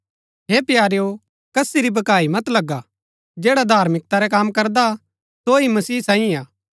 हे प्यारेओ कसी री भकाई मत लगा जैडा धार्मिकता रै कम करदा सो ही मसीह सांईये हा